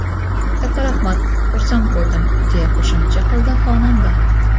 Katta rahmat, xursand bo‘ldim”, deya qo‘shimcha qildi xonanda.